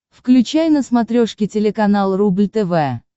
включай на смотрешке телеканал рубль тв